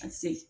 A se